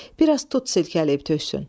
Bir az tut silkələyib töksün.